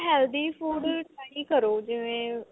healthy food try ਕਰੋ ਜਿਵੇਂ